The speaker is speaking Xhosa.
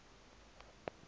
ezwide